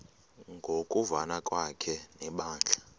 ngokuvana kwakhe nebandla